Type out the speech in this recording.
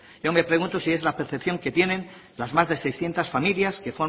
yo me pregunto si es la percepción que tienen las más de seiscientos familias que